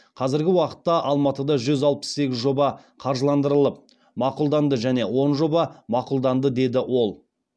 қазіргі уақытта алматыда жүз алпыс сегіз жоба қаржыландырылып мақұлданды және он жоба мақұлданды деді ол